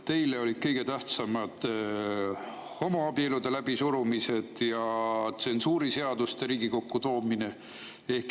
Teile olid kõige tähtsamad homoabielude läbisurumised ja tsensuuriseaduste Riigikokku toomine.